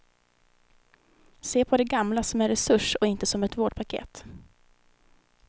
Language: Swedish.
Se på de gamla som en resurs och inte som ett vårdpaket.